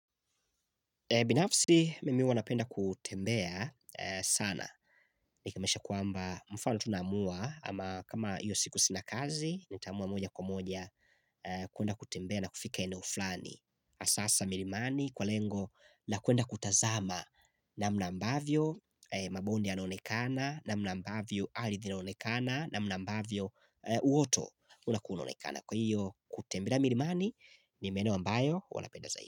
Binafsi mimi huwa napenda kutembea sana. Nikimaanisha kwamba mfano tu naamua ama kama hiyo siku sina kazi, nitaamua moja kwa moja kwenda kutembea na kufika eneo flani. Hasa hasa milimani kwa lengo na kwenda kutazama namna ambavyo mabondi yanaonekana, namna ambavyo ardhi inaonekana, namna ambavyo uoto unakua unaonekana. Kwa hiyo, kutembea milimani ni maeneo ambayo huwa napenda zaidi.